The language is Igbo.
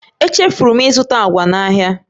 Echefuru m ịzụta agwa n'ahịa